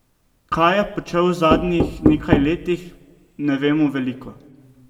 Kaj je počel v zadnjih nekaj letih, ne vemo veliko.